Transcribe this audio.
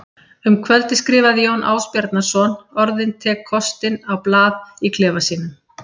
Um kvöldið skrifaði Jón Ásbjarnarson orðin tek kostinn á blað í klefa sínum.